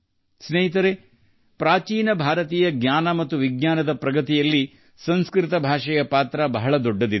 ಸ್ನೇಹಿತರೆ ಪ್ರಾಚೀನ ಭಾರತೀಯ ಜ್ಞಾನ ಮತ್ತು ವಿಜ್ಞಾನದ ಪ್ರಗತಿಯಲ್ಲಿ ಸಂಸ್ಕೃತವು ಬಹುದೊಡ್ಡ ಪಾತ್ರ ವಹಿಸಿದೆ